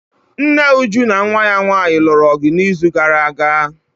Nne Uju na nwa ya nwanyị lụrụ ọgụ n'izu gara aga.